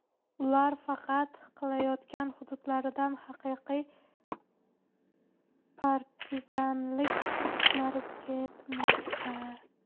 Ular harakat qilayotgan hududlarda haqiqiy partizanlik urushlari ketmoqda.